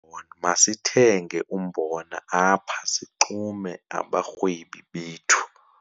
Masithenge umbona apha sixume abarhwebi bethu.